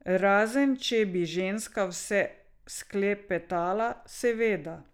Razen če bi ženska vse sklepetala, seveda.